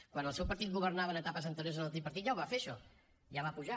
quan el seu partit governava en etapes anteriors amb el tripartit ja ho va fer això ja va pujar